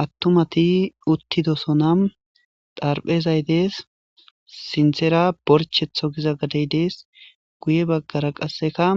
Attumati uttidosonam darphezay dees sinthera borchetho giza gadeydees guye baggara qasseka